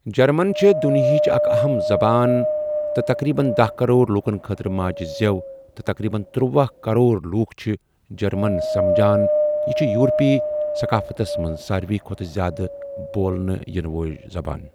German چھُ دنیاہِچ اَکھ اَہَم زَبان تہٕ تَقریٖبَن دہَ کرور لوٗکھَن خٲطرٕ ماجہِ زؠو تہٕ تَقریٖبَن تٔروۄہَ کرور لوٗکھ چھِ جَرمَن سَمجان یہِ چھُ یوٗروپی ثقافتَس مَنٛز سارِوٕے کھۄتہٕ زیٛادٕ بولنہٕ یِنہٕ وول زَبان۔